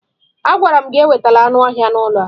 Agwara m gị ewetala anụ ọhịa n'ụlọ a!